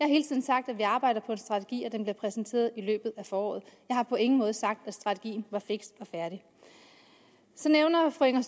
hele tiden sagt at vi arbejder på en strategi og at den bliver præsenteret i løbet af foråret jeg har på ingen måde sagt at strategien var fiks og færdig så nævner fru inger